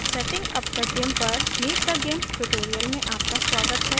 setting up the gimp पर meet the gimp tutorial में आपका स्वागत है